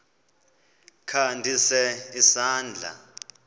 kha ndise isandla